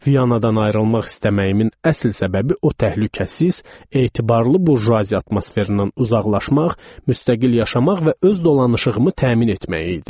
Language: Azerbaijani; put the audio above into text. Viyanadan ayrılmaq istəməyimin əsl səbəbi o təhlükəsiz, etibarlı burjuaziya atmosferindən uzaqlaşmaq, müstəqil yaşamaq və öz dolanışığımı təmin etmək idi.